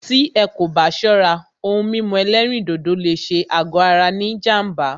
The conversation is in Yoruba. Tí ẹ́ kò bá ṣọ́rá, òhún mímú ẹ̀lẹ́rìndodò lé ṣé àgọ ara ní jám̀bá.